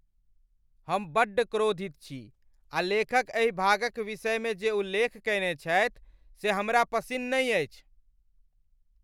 हम बड्ड क्रोधित छी आ लेखक एहि भागक विषयमे जे उल्लेख कयने छथि से हमरा पसिन्न नहि अछि।